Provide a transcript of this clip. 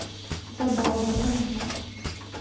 забава покажи